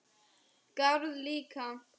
Garð líka.